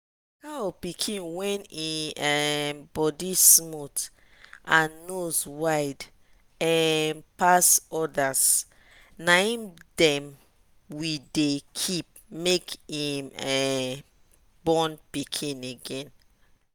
cow pikin wey en um body smooth and nose wide um pass others na him dem we dey keep make im um born pikin again.